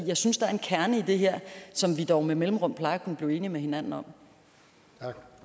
jeg synes der er en kerne i det her som vi dog med mellemrum plejer at kunne blive enige med hinanden om